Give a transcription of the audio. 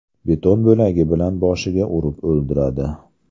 Beton bo‘lagi bilan boshiga urib o‘ldiradi.